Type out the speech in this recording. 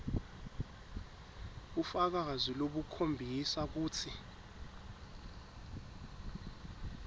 bufakazi lobukhombisa kutsi